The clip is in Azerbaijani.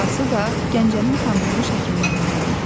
Qaynatası da Gəncənin tanınmış həkimlərindən idilər.